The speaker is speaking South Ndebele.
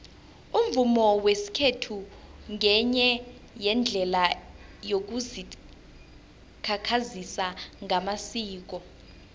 umvumo wesikhethu ngenye yeendlela yokuzikhakhazisa ngamasiko